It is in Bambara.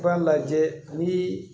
I b'a lajɛ nii